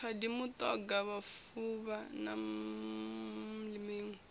khadi mutoga mufuvha na miṋwe